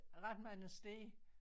Ret mange steder